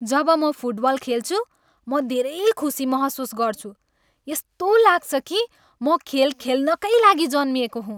जब म फुटबल खेल्छु, म धेरै खुसी महसुस गर्छु। यस्तो लाग्छ कि म खेल खेल्नकै लागि जन्मिएको हुँ।